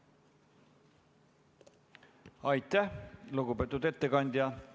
Aitäh, lugupeetud ettekandja!